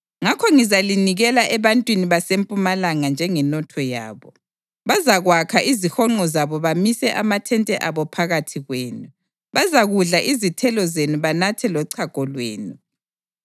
ngakho ngizalinikela ebantwini baseMpumalanga njengenotho yabo. Bazakwakha izihonqo zabo bamise amathente abo phakathi kwenu; bazakudla izithelo zenu banathe lochago lwenu.